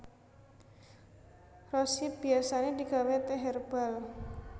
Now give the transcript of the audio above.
Rose hip biasané digawé tèh hèrbal